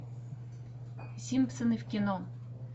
симпсоны в кино